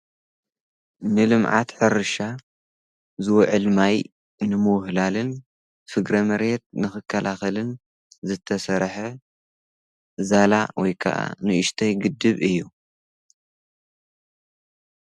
ንልምዓት ሕርሻ ዝወዕል ማይ ንምውህላልን ሥግረመርየት ንኽከላኽልን ዘተሠርሐ ዛላ ወይከዓ ንእሽተይ ግድብ እዩ::